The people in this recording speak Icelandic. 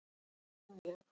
Ekki þó alveg.